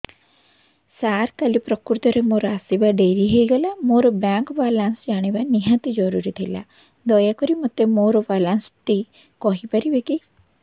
ସାର କାଲି ପ୍ରକୃତରେ ମୋର ଆସିବା ଡେରି ହେଇଗଲା ମୋର ବ୍ୟାଙ୍କ ବାଲାନ୍ସ ଜାଣିବା ନିହାତି ଜରୁରୀ ଥିଲା ଦୟାକରି ମୋତେ ମୋର ବାଲାନ୍ସ ଟି କହିପାରିବେକି